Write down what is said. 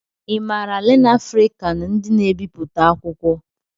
I maara LearnAfrican ndị n'ebipụta akwụkwọ?